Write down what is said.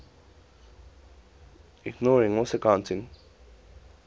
inorganic solvents